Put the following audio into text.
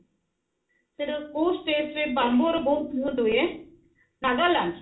ସେଟ କୋଉ state ରେ bamboo ରେ ବହୁତ ହୁଏ ନାଗାଲାଣ୍ଡ